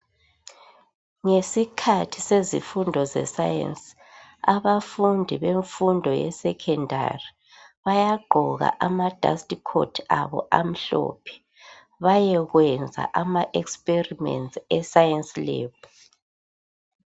Ngesikhathi sezifundo ze"science" abafundi bemfundo yeSekhondari bayagqoka ama"dust coat" abo amhlophe bayekwenza ama "experiments" e "science lab".